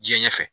Diɲɛ ɲɛfɛ